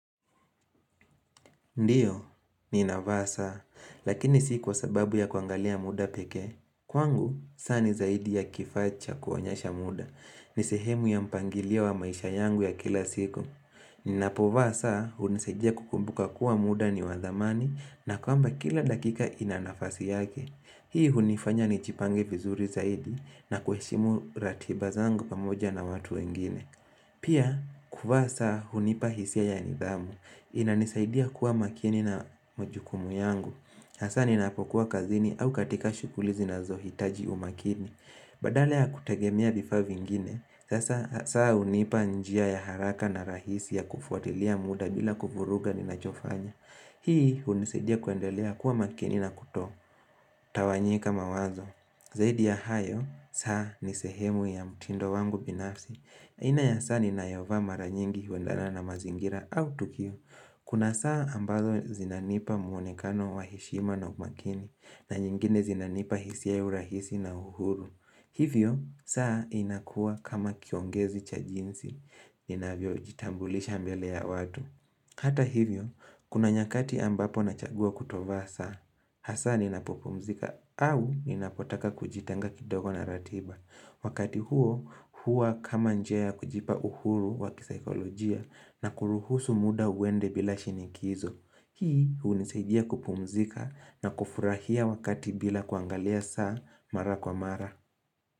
Ndiyo, ninavaa saa, lakini sikwa sababu ya kuangalia muda peke. Kwangu, saa ni zaidi ya kifaa cha kuonyesha muda. Nisehemu ya mpangilio wa maisha yangu ya kila siku. Ninapovaa saa, hunisadia kukumbuka kuwa muda ni wadhamani na kwamba kila dakika inanafasi yake. Hii hunifanya nijipange vizuri zaidi na kuheshimu ratiba zangu pamoja na watu wengine. Pia, kuvaa saa, hunipa hisia ya nidhamu. Ina nisaidia kuwa makini na majukumu yangu hasa ninapokuwa kazini au katika shukuli zinazo hitaji umakini Badala kutegemea vifaa vingine saa hunipa njia ya haraka na rahisi ya kufuatilia muda bila kuvuruga ni nachofanya Hii unisaidia kuendelea kuwa makini na kuto Tawanyika mawazo Zaidi ya hayo, saa nisehemu ya mutindo wangu binafsi aina ya saa ninayovaa mara nyingi huendana na mazingira au tukiu Kuna saa ambazo zinanipa muonekano wa heshima na umakini na nyingine zinanipa hisi ya urahisi na uhuru. Hivyo, saa inakuwa kama kiongezi cha jinsi. Ninavyo jitambulisha mbele ya watu. Hata hivyo, kuna nyakati ambapo nachagua kutovaa saa. Hasa ninapopumzika au ninapotaka kujitenga kidogo na ratiba. Wakati huo, hua kama njia ya kujipa uhuru wakisikolojia na kuruhusu muda uwende bila shinikizo. Hii hunisaidia kupumzika na kufurahia wakati bila kuangalia saa mara kwa mara.